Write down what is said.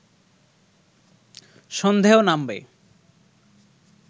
সন্ধেও নামবে